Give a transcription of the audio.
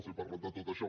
els he parlat de tot això